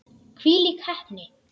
Hvílík heppni!